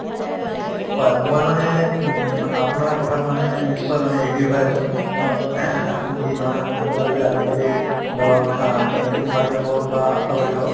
হয় মই মানে উম অপোনাৰ কথাত মানে নিশ্চয় মানে agree হৈ আছো এহ্ আপুনি যি ধৰণে কথা কলে যে আজিকালি ধৰক ANM বাইদেউ হওক বা আশা বাইদেউ হওক